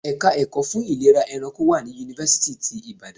Ẹ̀ka ẹ̀kọ́ fún ìlera ẹranko wà ní Yunifásítì ti Ìbàdàn.